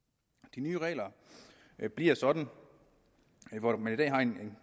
de nye regler bliver sådan at hvor man i dag har en